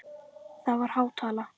Það er há tala.